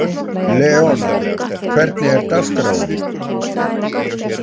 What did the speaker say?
Leona, hvernig er dagskráin?